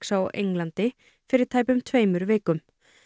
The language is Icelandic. á Englandi fyrir tæpum tveimur vikum